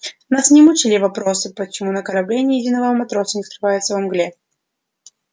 нас не мучили вопросы почему на корабле ни единого матроса не скрывается во мгле